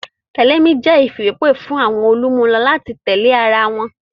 Tẹ̀lé mi jẹ́ ìfìwépè fún àwọn olùmúlò láti tẹ̀lé ara wọn